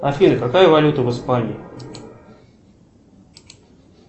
афина какая валюта в испании